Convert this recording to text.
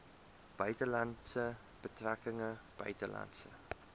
buitelandse betrekkinge buitelandse